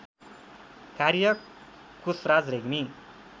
कार्य कोशराज रेग्मी